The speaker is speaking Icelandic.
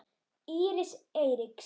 Íris Eiríks.